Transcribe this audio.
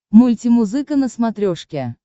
мультимузыка на смотрешке